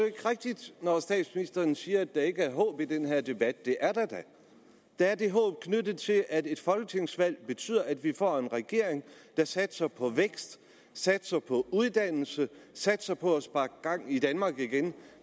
ikke rigtigt når statsministeren siger at der ikke er håb i den her debat det er der da der er det håb knyttet til debatten at et folketingsvalg betyder at vi får en regering der satser på vækst satser på uddannelse satser på at sparke gang i danmark igen